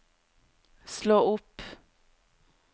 slå opp